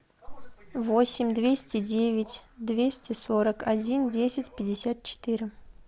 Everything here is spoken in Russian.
восемь двести девять двести сорок один десять пятьдесят четыре